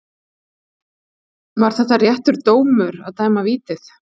Var þetta réttur dómur að dæma vítið?